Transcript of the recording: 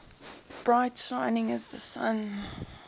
bright shining as the sun